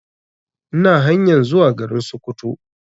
Ina hanyan zuwa garin Sokoto